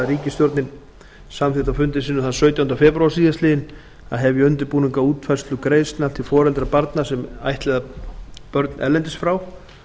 ríkisstjórnin samþykkti á fundi sínum þann sautjánda febrúar síðastliðinn að hefja undirbúning að útfærslu greiðslna til foreldra sem ættleiða börn erlendis frá